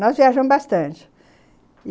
Nós viajamos bastante.